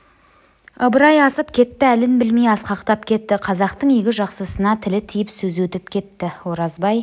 ыбырай асып кетті әлін білмей асқақтап кетті қазақтың игі жақсысына тілі тиіп сөзі өтіп кетті оразбай